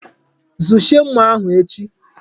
Zuchie nmà ahụ echi!